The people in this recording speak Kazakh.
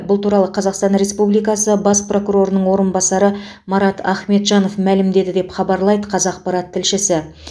бұл туралы қазақстан республикасы бас прокурорының орынбасары марат ахметжанов мәлімдеді деп хабарлайды қазақпарат тілшісі